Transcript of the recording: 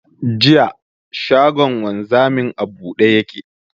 Jiya, shagon wanzamin a buɗe ya ke.